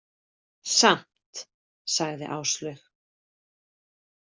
Samt, sagði Áslaug.